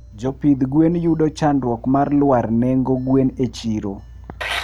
Jopidh gwen yudo chandruok mar lwar nengo gwen e chrio